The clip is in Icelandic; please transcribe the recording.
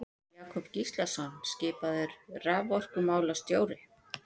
Jakob Gíslason skipaður raforkumálastjóri.